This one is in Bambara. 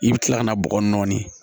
I bɛ kila ka na bɔgɔ nɔɔni